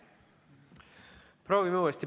Proovime uuesti.